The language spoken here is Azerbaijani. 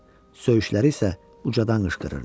Söyüşləri isə ucadan qışqırırdı.